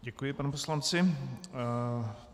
Děkuji panu poslanci.